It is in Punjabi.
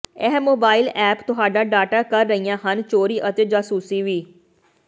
ਇਹ ਮੋਬਾਈਲ ਐਪ ਤੁਹਾਡਾ ਡਾਟਾ ਕਰ ਰਹੀਆਂ ਹਨ ਚੋਰੀ ਅਤੇ ਜਾਸੂਸੀ ਵੀ